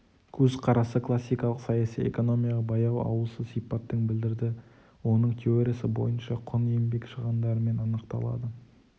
көзқарасы классикалық саяси экономияға баяу ауысу сипаттын білдірді оның теориясы бойынша құн-еңбек шығындарымен анықталады